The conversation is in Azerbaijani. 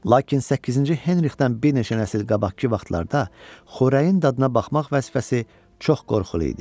Lakin səkkizinci Henrixdən bir neçə nəsil qabaqkı vaxtlarda xörəyin dadına baxmaq vəzifəsi çox qorxulu idi.